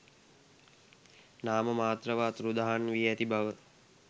නාම මාත්‍රව අතුරුදහන් වී ඇති බව